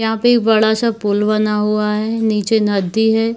यहाँ पे बड़ा-सा पूल बना हुआ हैं नीचे नदी है।